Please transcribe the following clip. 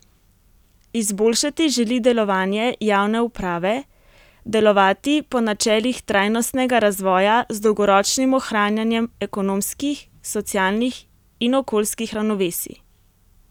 Izboljšati želi delovanje javne uprave, delovati po načelih trajnostnega razvoja z dolgoročnim ohranjanjem ekonomskih, socialnih in okoljskih ravnovesij.